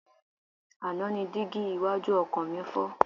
Àná ni dígí iwájú ọkọ̀ mi fọ́.